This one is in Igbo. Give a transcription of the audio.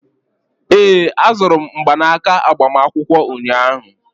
ee, azụrụ m mgbanaka agbamakwụkwọ ụnyahụ